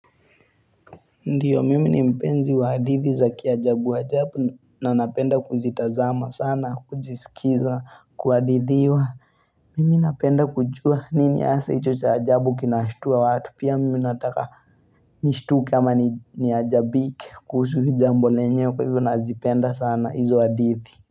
Ndiyo mimi mpenzi wahadithi zaki ajabu ajabu na napenda kuzitazama sana kuzisikiza kuhadithiwa mimi napenda kujua nini hasa icho cha ajabu kinashutua watu pia mimi nataka nishtuke ama ni ajabike kuhusu jambo lenyewe kwa hivyo nazipenda sana hizo hadithi.